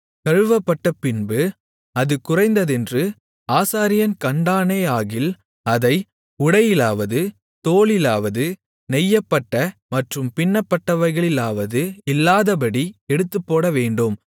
கழுவப்பட்டபின்பு அது குறைந்ததென்று ஆசாரியன் கண்டானேயாகில் அதை உடையிலாவது தோலிலாவது நெய்யப்பட்ட மற்றும் பின்னப்பட்டவைகளிலாவது இல்லாதபடி எடுத்துப்போடவேண்டும்